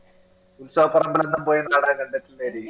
ഉത്സവപ്പറമ്പിലെല്ലാം പോയി നാടകം കണ്ടിട്ടില്ലെടി